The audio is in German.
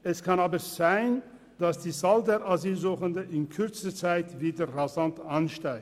Es kann aber sein, dass die Zahl der Asylsuchenden in kürzester Zeit wieder rasant ansteigt.